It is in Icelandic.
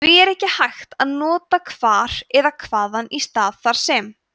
því er ekki hægt að nota hvar eða hvaðan í stað þar sem